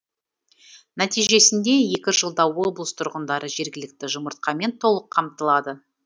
нәтижесінде екі жылда облыс тұрғындары жергілікті жұмыртқамен толық қамтылады